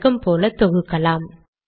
வழக்கம் போல தொகுக்கலாம்